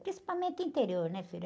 Principalmente interior, né, filho?